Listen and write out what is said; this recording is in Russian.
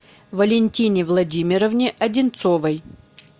валентине владимировне одинцовой